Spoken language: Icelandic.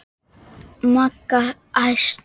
Magga æst.